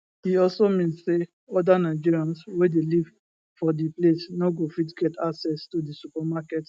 e also mean say oda nigerians wey dey live for di place no go fit get access to di supermarket